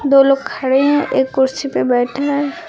दो लोग खड़े हैं एक कुर्सी पर बैठा है।